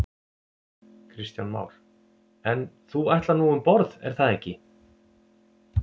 Kristján Már: En þú ætlar nú um borð er það ekki?